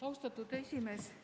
Austatud esimees!